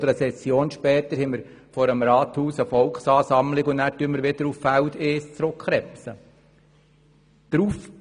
Eine Session später steht vor dem Rathaus dann eine Volksansammlung und protestiert, worauf wir wieder auf Feld 1 zurückkrebsen.